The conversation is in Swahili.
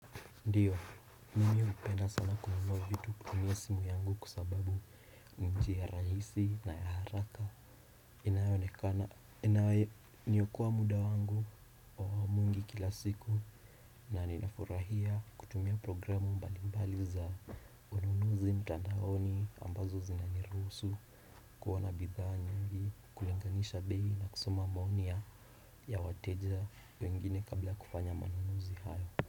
Ndiyo, mimi hupenda sana kununua vitu kutumia simu yangu kwa sababu njia rahisi na ya haraka inayonekana inayo niokoa muda wangu wa mwingi kila siku na ninafurahia kutumia programu mbali mbali za ununuzi mtanaoni ambazo zinaniruhusu kuwa na bidhaa nyingi kulenganisha bei na kusoma maoni ya wateja wengine kabla kufanya manunuzi hayo.